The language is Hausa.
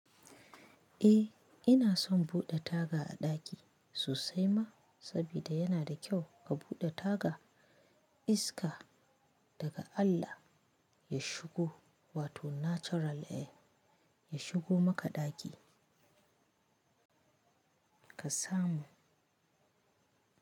Eh ina son buɗe taga a ɗaki sosai ma saboda yana da kyau a buɗe taga iska daga Allah ya shigo wato natural air ya shigo maka ɗaki ka samu.